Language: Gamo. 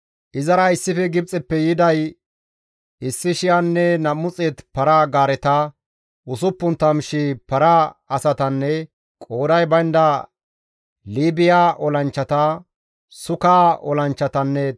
Izara issife Gibxeppe yiday 1,200 para-gaareta, 60,000 para asatanne qooday baynda Liibiya olanchchata, Sukka olanchchatanne Tophphiya olanchchata.